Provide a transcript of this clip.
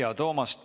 Aitäh!